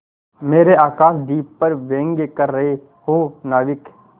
मेरे आकाशदीप पर व्यंग कर रहे हो नाविक